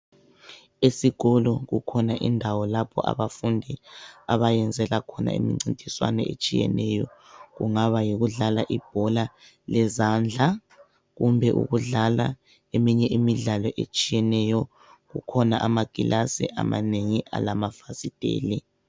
Esikolo kukhona indawo lapho abafundi abayenzela khona imincintiswano etshiyeneyo kungaba yikudlala ibhola lezandla kumbe ukudlala eminye imidlalo etshiyeneyo. Kukhona amakilasi amanengi alamafasiteli.